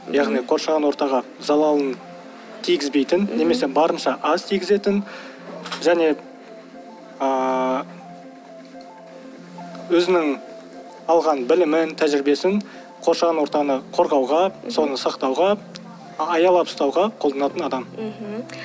яғни қоршаған ортаға залалын тигізбейтін немесе барынша аз тигізетін және ыыы өзінің алған білімін тәжірибесін қоршаған ортаны қорғауға соны сақтауға аялап ұстауға қолданатын адам мхм